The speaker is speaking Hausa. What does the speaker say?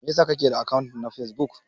Mai ya sa kake da akant na Facebook?